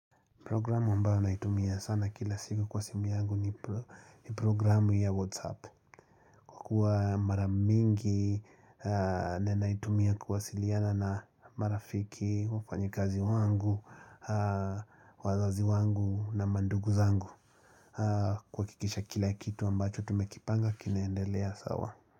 Programu ambao naitumia sana kila siku kwa simu yangu ni programu ya WhatsApp. Kwa kuwa maramingi na naitumia kuwasiliana na marafiki, wafanyikazi wangu, wazazi wangu na mandugu zangu. Kuhakikisha kila kitu ambacho tumekipanga kinaendelea sawa.